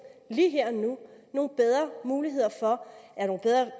lige her og nu nogle bedre muligheder for